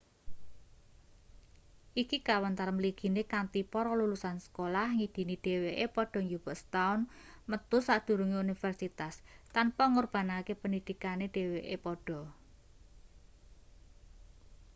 iki kawentar mligine kanthi para lulusan sekolah ngidini dheweke padha njupuk setaun metu sadurunge universitas tanpa ngorbanake pendhidhikane dheweke padha